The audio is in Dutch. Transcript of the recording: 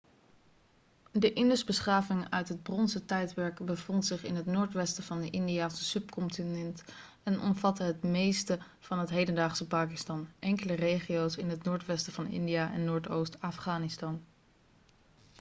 de indusbeschaving uit het bronzen tijdperk bevond zich in het noordwesten van het indiase subcontinent en omvatte het meeste van het hedendaagse pakistan enkele regio's in het noordwesten van india en noordoost afghanistan